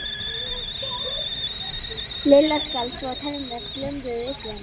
Lilla skalf svo að tennurnar glömruðu uppi í henni.